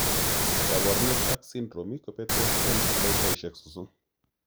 Kaborunoik ak symptoms kobetos en dakikaisiek sosom